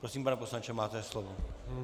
Prosím, pane poslanče, máte slovo.